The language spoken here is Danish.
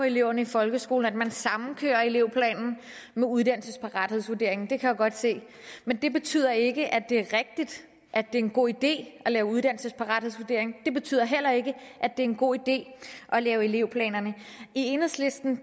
eleverne i folkeskolen at man sammenkører elevplanen med uddannelsesparathedsvurderingen det kan jeg godt se men det betyder ikke at det er rigtigt at det er en god idé at lave uddannelsesparathedsvurdering det betyder heller ikke at det er en god idé at lave elevplaner i enhedslisten